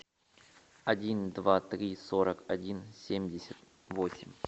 один два три сорок один семьдесят восемь